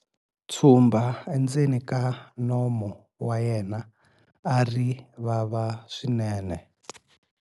Tshumba endzeni ka nomu wa yena a ri vava swinene.